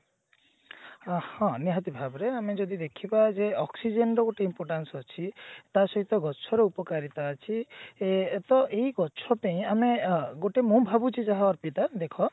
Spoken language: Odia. ହଁ ନିହାତି ଭାବରେ ଆମେ ଯଦି ଦେଖିବା ଯେ oxygen ର ଗୋଟେ importance ଅଛି ଟା ସହିତ ଗଛର ଉପକାରିତା ଅଛି ସେ ଏଟା ଏଇ ଗଛ ପେଇଁ ଆମେ ଗୋଟେ ମୁଁ ଭାବୁଛି ଯାହା ଅର୍ପିତା ଦେଖ